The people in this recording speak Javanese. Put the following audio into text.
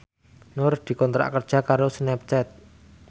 Nur dikontrak kerja karo Snapchat